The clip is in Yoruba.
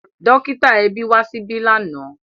Dọ́kítà ẹbí wá síbí lánàá.